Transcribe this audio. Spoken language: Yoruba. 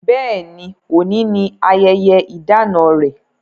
Bẹ́ẹ̀ ni, òní ni ayẹyẹ ìdána rẹ̀.